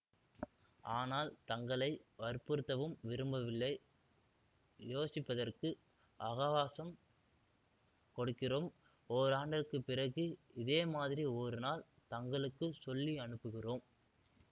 ஆனால் தங்களை வற்புறுத்தவும் விரும்பவில்லை யோசிப்பதற்கு அகவாசம் கொடுக்கிறோம் ஓராண்டுக்குப் பிறகு இதேமாதிரி ஒரு நாள் தங்களுக்கு சொல்லி அனுப்புகிறோம்